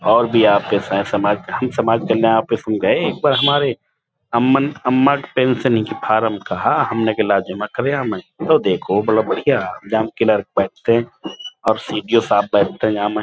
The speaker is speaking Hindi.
और भी समाज कल्याण ऑफिस हम गए एक बार हमारे अम्म अम्मा के पेन्सिओनी की फारम कहा हमने कहा लाओ जमा करे हमें तो देखो बड़ा बढियां और सी.ई.ओ. साहब बैठते यहाँ में --